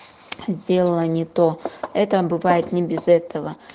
сделала не то это бывает не без этого